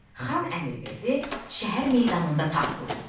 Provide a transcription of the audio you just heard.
Xan əmr verdi, şəhər meydanında taxt quruldu.